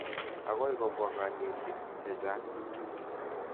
Akoi kopwa kanetik che chang'.